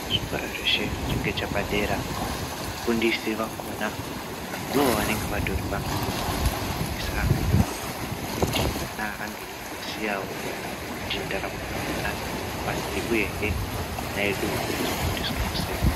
Zvikoro zvese zvinenge zvepadera mufundisi akona ndiwo wanenge watori pamberi veifundisa ana kuti ana ange achi zoziyawo kuti nharamo yakona inofamba sei uyehe ana edu ano zofundiswa wo sei .